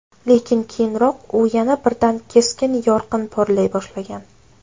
Lekin keyinroq u yana birdan keskin yorqin porlay boshlagan.